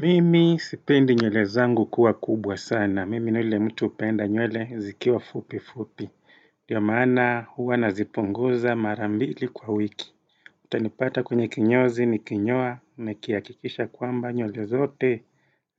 Mimi sipendi nywele zangu kuwa kubwa sana. Mimi ni ule mtu upenda nywele zikiwa fupi fupi. Dio maana huwa naziponguza mara mbili kwa wiki. Tanipata kwenye kinyozi nikinyoa, nikiakikisha kwamba nywele zote